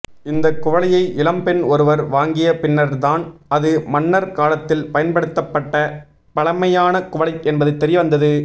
இந்த குவளையை இளம்பெண் ஒருவர் வாங்கிய பின்னர்தான் அது மன்னர் காலத்தில் பயன்படுத்தபப்ட்ட பழமையான குவளை என்பது தெரிய வந்தது